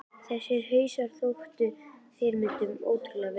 Þessir hausar þóttu ná fyrirmyndunum ótrúlega vel.